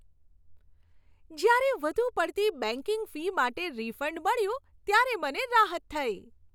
જ્યારે વધુ પડતી બેંકિંગ ફી માટે રિફંડ મળ્યું ત્યારે મને રાહત થઈ.